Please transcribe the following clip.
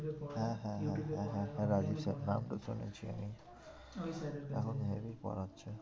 পড়ায়। হ্যাঁ হ্যাঁ হ্যাঁ হ্যাঁ হ্যাঁ রাজীব sir নামটা শুনেছি আমি ওই sir এর কাছে এখন হেবি পড়াচ্ছে।